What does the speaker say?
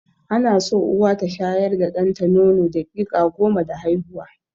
Ana so Uwa ta shayar da ɗanta nono daƙiƙa goma da haihuwa.